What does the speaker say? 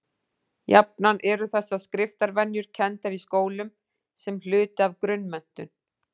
Jafnan eru þessar skriftarvenjur kenndar í skólum sem hluti af grunnmenntun.